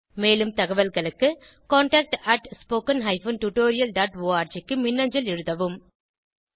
மேலும் தகவல்களுக்கு contactspoken tutorialorg க்கு மின்னஞ்சல் எழுதவும்